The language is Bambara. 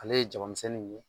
Ale ye jabamisɛnnin ye